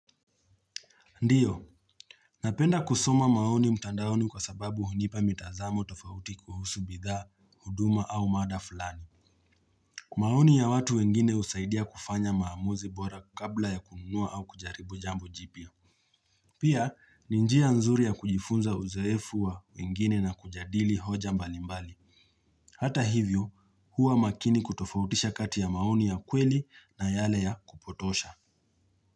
Ndio, napenda kusoma maoni mtandaoni kwa sababu hunipa mitazamo tofauti kuhusu bidhaa, huduma au mada fulani. Maoni ya watu wengine husaidia kufanya maamuzi bora kabla ya kununua au kujaribu jambo jipya. Pia, ni njia nzuri ya kujifunza uzoefu wa wengine na kujadili hoja mbalimbali. Hata hivyo, huwa makini kutofautisha kati ya maoni ya kweli na yale ya kupotosha.